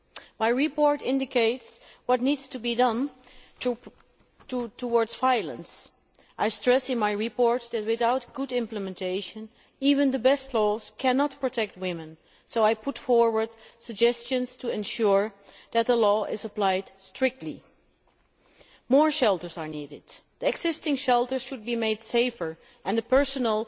The report indicates what needs to be done about violence and stresses that, without good implementation, even the best laws cannot protect women, so I put forward suggestions to ensure that the law is strictly applied. More shelters are needed. The existing shelters should be made safer, and the personnel